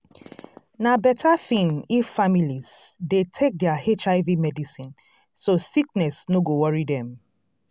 na better thing if families dey take their hiv medicine so sickness no go worry dem.